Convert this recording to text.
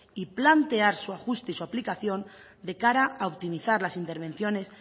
y plantear su ajuste y su aplicación de cara a optimizar las intervenciones